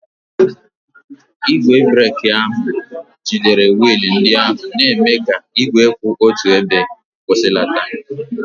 Igwe breeki ahụ jidere wiil ndị ahụ, na-eme ka igwe kwụ otu ebe kwụsịlata.